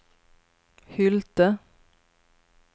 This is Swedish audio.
Hylte